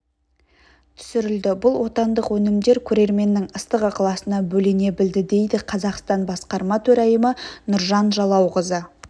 түсірілді бұл отандық өнімдер көрерменнің ыстық ықыласына бөлене білді дейді қазақстан басқарма төрайымы нұржан жалауқызы